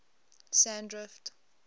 sandrift